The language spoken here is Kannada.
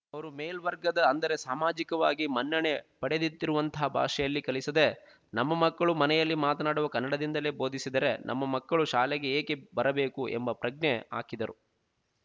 ಅವರು ಮೇಲ್ವರ್ಗದ ಅಂದರೆ ಸಾಮಾಜಿಕವಾಗಿ ಮನ್ನಣೆ ಪಡೆದ್ದಿತಿರುವಂತಹ ಭಾಷೆಯಲ್ಲೆ ಕಲಿಸದೆ ನಮ್ಮ ಮಕ್ಕಳು ಮನೆಯಲ್ಲಿ ಮಾತನಾಡುವ ಕನ್ನಡದಿಂದಲೇ ಭೋದಿಸಿದರೆ ನಮ್ಮ ಮಕ್ಕಳು ಶಾಲೆಗೆ ಏಕೆ ಬರಬೇಕು ಎಂಬ ಪ್ರಜ್ಞೆ ಹಾಕಿದರು